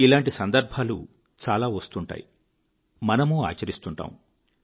ఇలాంటి సందర్భాలు చాలా వస్తుంటాయి మనమూ ఆచరిస్తుంటాము